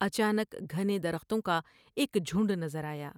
اچا نک گھنے درختوں کا ایک جھنڈ نظر آیا ۔